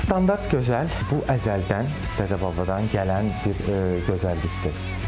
Standart gözəl, bu əzəldən, dədə-babadan gələn bir gözəllikdir.